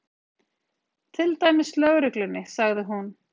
Til dæmis lögreglunni, sagði hún.